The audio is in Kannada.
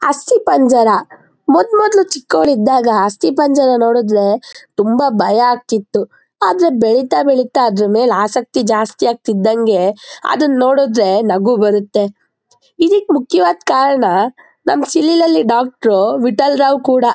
ಅಸ್ತಿಪಂಜರ ಮೊದ್ ಮೊದ್ಲು ಚಿಕ್ಕವರಿದ್ದಾಗ ಅಸ್ತಿಪಂಜರ ನೋಡಿದ್ರೆ ತುಂಬಾ ಭಯ ಆಗ್ತಿತ್ತು ಆದರೆ ಬೆಳಿತಾ ಬೆಳಿತಾ ಅದರ ಮೇಲೆ ಆಸಕ್ತಿ ಜಾಸ್ತಿ ಆಗ್ತಿದ್ದಂಗೆ ಅದನ್ನ್ ನೋಡಿದ್ರೆ ನಗು ಬರುತ್ತೆ ಇದಕ್ಕೆ ಮುಖ್ಯವಾದ ಕಾರಣ ನಮ್ಮ್ ಸಿಲ್ಲಿ ಲಲ್ಲಿ ಡಾಕ್ಟರ್ ವಿಠ್ಠಲ್ ರಾವ್ ಕೂಡ.